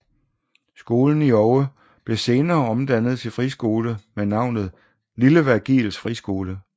Skolen i Oue blev senere omdannet til friskole med navnet Lille Virgils Friskole